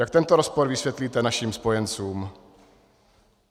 Jak tento rozpor vysvětlíte našim spojencům?